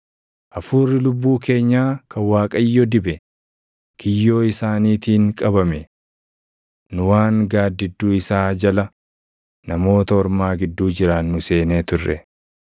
Hafuurri lubbuu keenyaa kan Waaqayyo dibe, kiyyoo isaaniitiin qabame. Nu waan gaaddidduu isaa jala, Namoota Ormaa gidduu jiraannu seenee turre.